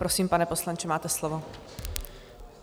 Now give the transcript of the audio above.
Prosím, pane poslanče, máte slovo.